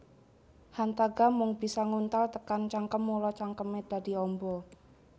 Hantaga mung bisa nguntal tekan cangkem mula cangkeme dadi amba